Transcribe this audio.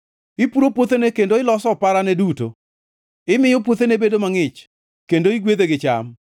Ipuro puothene kendo iloso oparane duto. Imiyo puothene bedo mangʼich, kendo igwedhe gi cham.